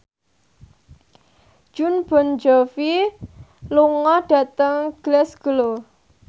Jon Bon Jovi lunga dhateng Glasgow